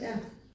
Ja